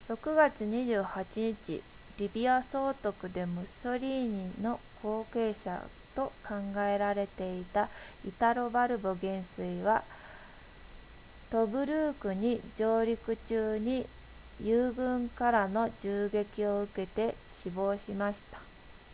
6月28日リビア総督でムッソリーニの後継者と考えられていたイタロバルボ元帥はトブルークに上陸中に友軍からの銃撃を受けて死亡しました